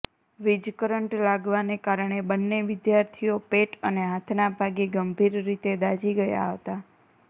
વીજ કરંટ લાગવાને કારણે બંને વિદ્યાર્થીઓ પેટ અને હાથના ભાગે ગંભીર રીતે દાઝી ગયા હતા